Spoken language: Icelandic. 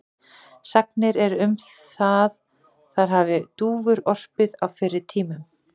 Sagnir eru um að þar hafi dúfur orpið á fyrri tímum.